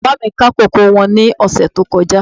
Bàbá mi ká kókò wọn ní ọ̀sẹ̀ tó kọjá